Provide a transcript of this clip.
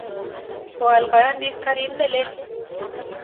Koal kayanik karit ne lel.